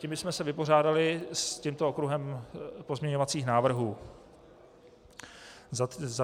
Tím bychom se vypořádali s tímto okruhem pozměňovacích návrhů.